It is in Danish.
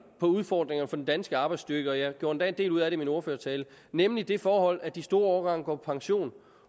om udfordringerne for den danske arbejdsstyrke og jeg gjorde endda en del ud af det i min ordførertale nemlig det forhold at de store årgange går på pension